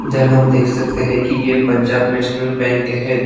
इधर हम देख सकते हैं कि ये पंजाब नेशनल बैंक है।